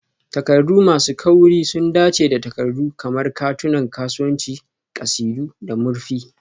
Takardu masu kauri sun dace da takardu kamar katunan kasuwanci, ƙasidu, da murfi.